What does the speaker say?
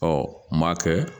Ɔ m'a kɛ